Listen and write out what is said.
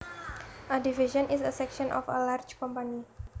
A division is a section of a large company